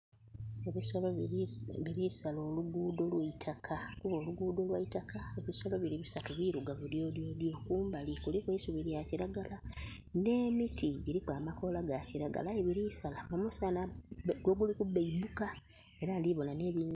Ebisolo biri sala oluguudo olweitaka kuba oluguudo lwa itaka. Ebisolo biri bisatu birugavu dyodyodo. Kumbali kuliku eisubi lya kiragala ne miti giriku amakoola ga kiragala aye birisala omussanha we guli ku beibbuka